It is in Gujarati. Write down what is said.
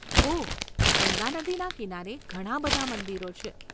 ઓહ, ગંગા નદીના કિનારે ઘણા બધા મંદિરો છે.